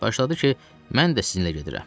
Başladı ki, mən də sizinlə gedirəm.